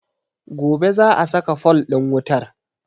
Gobe za a saka fol ɗin wutar